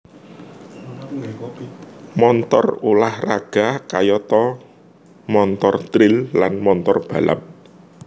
Montor ulah raga kayata montor tril lan montor balap